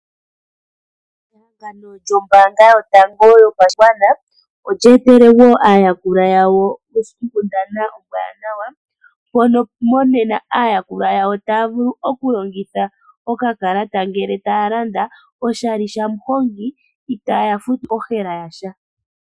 Ehangano lyombaanga yotango yopashigwana olye etele wo aayakulwa yawo onkundana ombwaanawa mpono monena aayakulwa yawo taya vulu okulongitha okakalata kkawo ngele taya landa oshali shamuhongi itaya futu nande iihohela yasha.